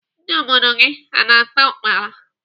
Ndị obodo gị a na-ata ukpala?